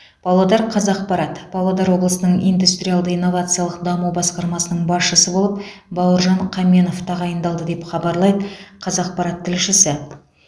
павлодар қазақпарат павлодар облысының индустриалды инновациялық даму басқармасының басшысы болып бауыржан қаменов тағайындалды деп хабарлайды қазақпарат тілшісі